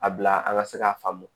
A bila an ka se k'a faamu